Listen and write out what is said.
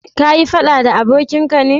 ka yi faɗa da abokin ka ne?